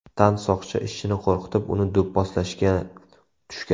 Tansoqchi ishchini qo‘rqitib, uni do‘pposlashga tushgan.